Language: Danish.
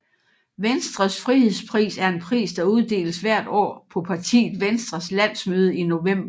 Venstres frihedspris er en pris der uddeles hvert år på partiet Venstres landsmøde i november